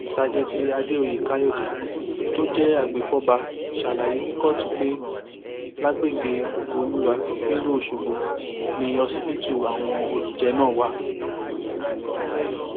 ṣàjètì àdèoyè káyọdé tó jẹ agbèfọba ṣàlàyé ní kóòtù pé lágbègbè ògoolúwà nílùú ọṣọgbó ni ọsibítù àwọn olùjẹ náà wà